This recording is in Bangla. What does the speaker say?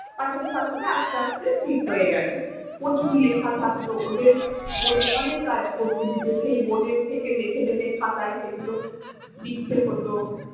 পাঠাতে পাঠাতে আস্তে আস্তে ঠিক হয়ে গেলো। প্রচুর লেখা থাকতো, ওদের board এ অনেক কাজ করতে দিতো। সেই board এর থেকে দেখে দেখে খাতায় সেগুলো লিখতে হতো।